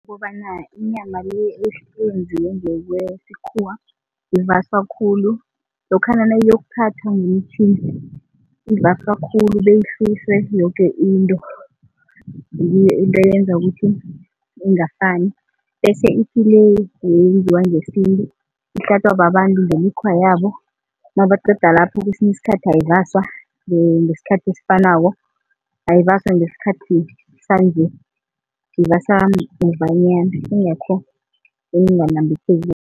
Kukobana inyama le eyenziwe ngokwesikhuwa ivaswa khulu lokhana nayiyokuthathwa ngomtjhini ivaswa khulu beyisuswe yoke into, ngiyo into eyenza ukuthi ingafani, bese kuthi le eyenziwa ngesintu ihlatjwa babantu ngemikhwa yabo nabaqeda lapho kwesinye isikhathi ayivaswa ngesikhathi esifanako, ayivaswa ngesikhathi sanje, ivaswa muvanyana ingakho inganambitheki.